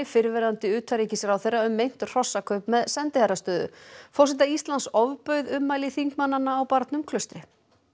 fyrrverandi utanríkisráðherra um meint hrossakaup með sendiherrastöður forseta Íslands ofbauð ummæli þingmannanna á barnum Klaustri